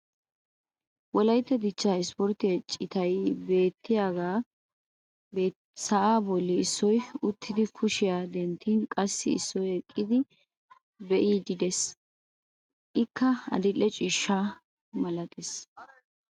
Wolaytta dichchaa ispportte citay beetiyaagee sa"aa boli issoy uttidi kushiya denttin qassi issoy eqqidi biidi beetees. Ikka adil'e ciishsha malattees.